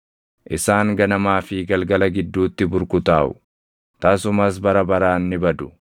Isaan ganamaa fi galgala gidduutti burkutaaʼu; tasumas bara baraan ni badu.